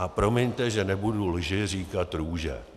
A promiňte, že nebudu lži říkat růže.